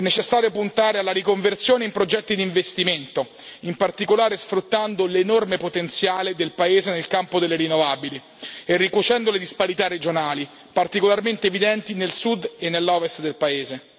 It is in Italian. È necessario puntare alla riconversione in progetti di investimento, in particolare sfruttando l'enorme potenziale del paese nel campo delle rinnovabili e ricucendo le disparità regionali, particolarmente evidenti nel sud e nell'ovest del paese.